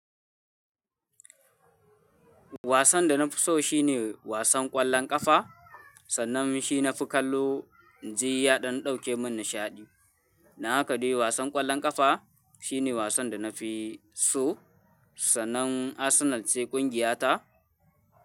Wasan da na fi so shine wasan ƙwallon ƙafa, sannan shi nafi kallo in ji ya don ɗauke mun nishaɗi. Don haka dai wasan ƙwallon ƙafa shine wasan da na fi so, sannan Arsenal ce ƙungiya ta.